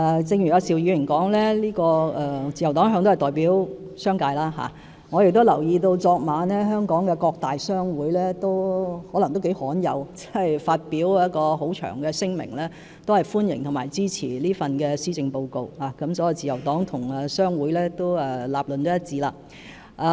正如邵議員所說，自由黨一向都代表商界，我亦留意到昨晚香港各大商會或許是頗罕有地發表一份很長的聲明，表示歡迎和支持這份施政報告，可見自由黨與商會的立論是一致的。